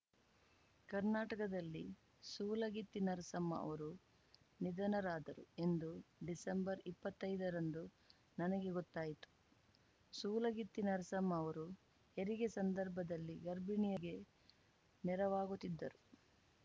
ಕರ್ನಾಟಕದಲ್ಲಿ ಸೂಲಗಿತ್ತಿ ನರಸಮ್ಮ ಅವರು ನಿಧನರಾದರು ಎಂದು ಡಿಸೆಂಬರ್ಇಪ್ಪತ್ತೈದರಂದು ನನಗೆ ಗೊತ್ತಾಯಿತು ಸೂಲಗಿತ್ತಿ ನರಸಮ್ಮ ಅವರು ಹೆರಿಗೆ ಸಂದರ್ಭದಲ್ಲಿ ಗರ್ಭಿಣಿಯರಿಗೆ ನೆರವಾಗುತ್ತಿದ್ದರು